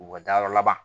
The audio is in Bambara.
U ka dayɔrɔ laban